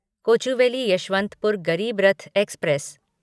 Kochuveli Yesvantpur Garib Rath express